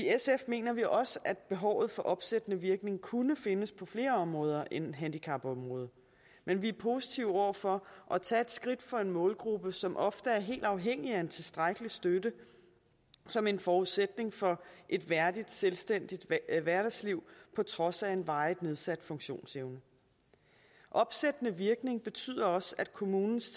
mener vi også at behovet for opsættende virkning kunne findes på flere områder end handicapområdet men vi er positive over for at tage et skridt for en målgruppe som ofte er helt afhængig af en tilstrækkelig støtte som en forudsætning for et værdigt selvstændigt hverdagsliv på trods af en varigt nedsat funktionsevne opsættende virkning betyder også at kommunens